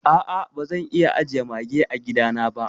A a bazan iya ajiye Mage a gida na ba.